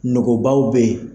Nogobaw be ye